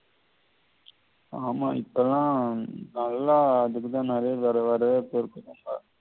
ஆஹ் ஆமா இப்பல்லாம் நல்ல இதுக்கு தான் நல்ல வர வரவேற்பு இருக்குது